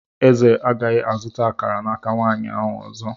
Eze agaghị azụta akara n'aka nwanyị ahụ ọzọ.